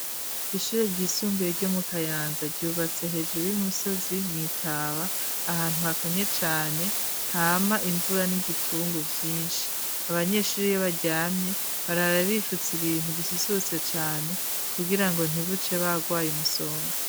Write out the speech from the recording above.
Ishure ryisumbuye, ryo mu Kayanza, ryubatse hejuru y'umusozi, mw'itaba; ahantu, hakanye cane, hama imvura, n'igipfungu vyinshi; abanyeshure, iyo baryamye, barara bifutse, ibintu bisusurutse cane, kugira ngo ntibuce, bagwaye umusonga.